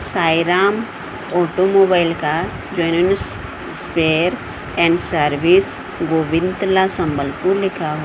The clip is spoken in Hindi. साईं राम ऑटोमोबाइल का जैन्युन स्पेयर एंड सर्विस गोविंतला संबलपुर लिखा--